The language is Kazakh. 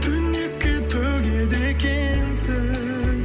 түнекке төгеді екенсің